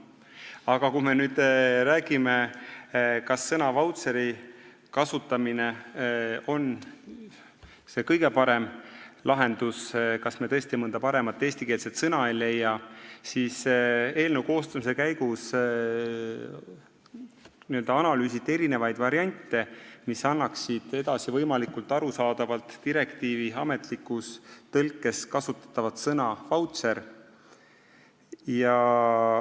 Aga kui me nüüd räägime, kas sõna "vautšer" kasutamine on see kõige parem lahendus, kas me tõesti mõnda paremat eestikeelset sõna ei leia, siis eelnõu koostamise käigus analüüsiti erinevaid variante, mis annaksid edasi võimalikult arusaadavalt direktiivi ametlikus tõlkes kasutatavat sõna "vautšer".